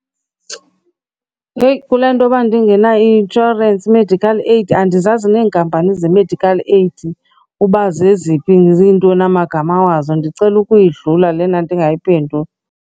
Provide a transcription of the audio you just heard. Heyi, kule ntoba ndingena-insurance medical aid, andizazi neenkampani ze-medical aid uba zeziphi, zintoni amagama wazo. Ndicela ukuyidlala lena ndingayiphenduli.